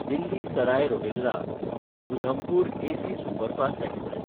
Delhi Sarai रोहिल्ला–उधमपूर AC superfast express